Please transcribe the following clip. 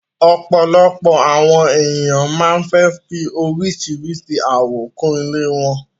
Òpọ́lọ́pọ́ àwọn ènìyàn máa fẹ́ fì oríṣíṣírí àwò kún ilẹ̀ wọn